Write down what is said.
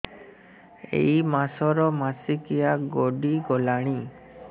ଏଇ ମାସ ର ମାସିକିଆ ଗଡି ଗଲାଣି